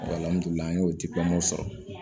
an y'o sɔrɔ